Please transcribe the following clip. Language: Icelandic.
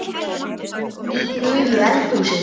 Í gulu eldhúsi